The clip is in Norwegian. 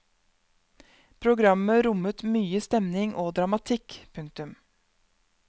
Programmet rommet mye stemning og dramatikk. punktum